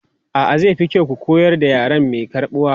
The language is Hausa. A'a, zai fi kyau ku koyar da yare mai karɓuwa.